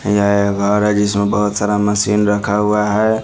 जिसमे बहुत सारा मशीन रखा हुआ है।